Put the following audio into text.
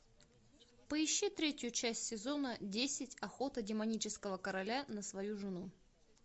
поищи третью часть сезона десять охота демонического короля на свою жену